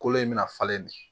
Kolo in bɛna falen de